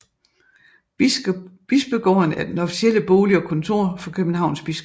Bispegården er den officielle bolig og kontor for Københavns biskop